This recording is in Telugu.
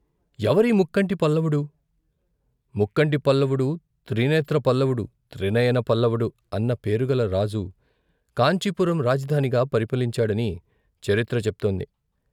ఎవరీ ముక్కంటి పల్లవుడు ముక్కంటి పల్లవుడు, త్రినేత్ర పల్లవుడు, త్రినయన పల్లపుడు అన్న పేరుగల రాజు కాంచీపురం రాజధానిగా పరిపాలించాడని చరిత్ర చెప్తోంది.